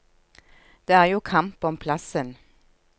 Det er jo kamp om plassen.